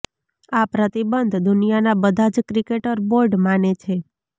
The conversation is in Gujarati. આ પ્રતિબંધ દુનિયાના બધા જ ક્રિકેટ બોર્ડ માને છે